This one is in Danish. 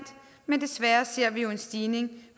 men desværre ser vi jo en stigning i